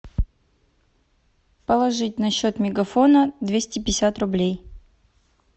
положить на счет мегафона двести пятьдесят рублей